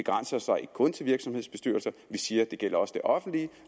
så ikke kun til virksomhedsbestyrelser vi siger at det også det offentlige